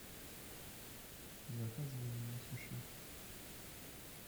заказывай мне суши